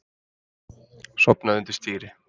Sofnaði undir stýri